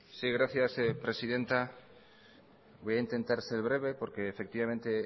sí gracias presidenta voy a intentar ser breve porque